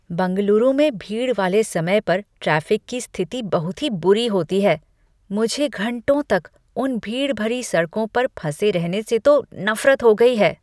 बंगलुरु में भीड़ वाले समय पर ट्रैफिक की स्थिति बहुत ही बुरी होती है। मुझे घंटों तक उन भीड़ भरी सड़कों पर फँसे रहने से तो नफरत हो गई है।